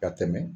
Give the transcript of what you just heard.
Ka tɛmɛ